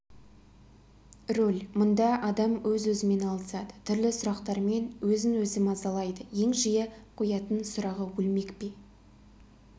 рөл мұнда адам өз-өзімен алысады түрлі сұрақтармен өзін-өзі мазалайды ең жиі қоятын сұрағы өлмек пе